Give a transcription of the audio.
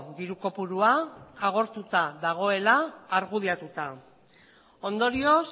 diru kopurua agortuta dagoela argudiatuta ondorioz